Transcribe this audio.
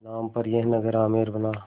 नाम पर यह नगर आमेर बना